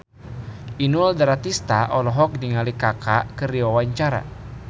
Inul Daratista olohok ningali Kaka keur diwawancara